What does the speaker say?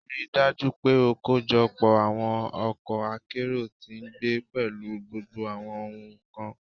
Rii daju pe o kojọpọ awọn ọkọ akero ti ngbe pẹlu gbogbo awọn ohun kan